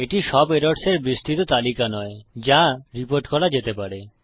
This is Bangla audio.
এটি সব এরর্স এর বিস্তৃত তালিকা নয় যা রিপোর্ট করা যেতে পারে